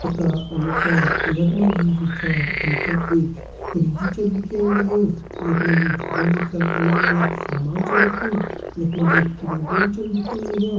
का अनुसार यख मा जु छा हम तें एक फ्रिज छ दिखेण लग्युं यख मा जी फ्रिज भीतर अलग अलग सामान छ रख्युं यख मा जी क्रीम रूल छन दिखेण लग्यां।